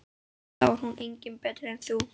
Þá er hún engu betri en þau.